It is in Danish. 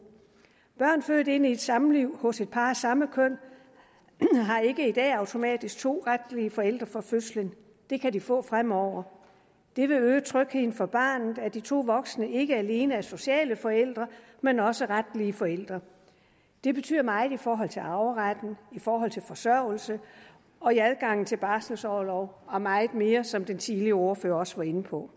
børn født ind i et samliv hos et par af samme køn har ikke i dag automatisk to retlige forældre fra fødslen det kan de få fremover det vil øge trygheden for barnet at de to voksne ikke alene er sociale forældre men også retlige forældre det betyder meget i forhold til arveretten i forhold til forsørgelsen og i adgangen til barselsorlov og meget mere som den tidligere ordfører også var inde på